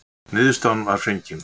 Niðurstaðan var fengin.